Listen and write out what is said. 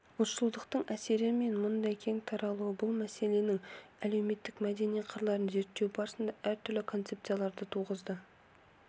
ұлтшылдықтың әсері мен мұндай кең таралуы бұл мәселенің әлеуметтік мәдени қырларын зерттеу барысында әртүрлі концепцияларды туғызды